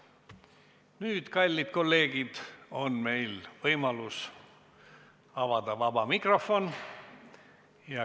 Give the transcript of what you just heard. Nüüd, kallid kolleegid, on meil võimalus avada vaba mikrofon.